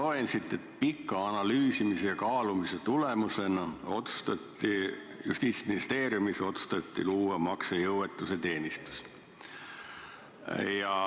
Ma loen siit, et pika analüüsimise ja kaalumise tulemusena otsustati Justiitsministeeriumis luua maksejõuetuse teenistus.